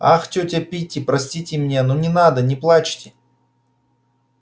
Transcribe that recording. ах тётя питти простите меня ну не надо не плачьте